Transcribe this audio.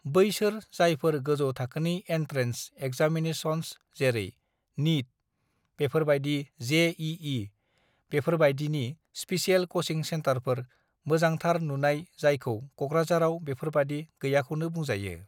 "बैसोर जायफोर गोजौ थाखोनि एन्ट्रेन्स (entrance) एगजामिनेसन्स (examinations) जेरै - निट (NEET), बेफोरबायदि जेइइ (JEE) बेफोरबायदिनि स्पिसियेल क'चिं सेन्टारफोर (special coaching center), मोजांथार नुनाय जायखै क'क्राझाराव बेफोरबायदि गैयाखौनो बुंजायो।"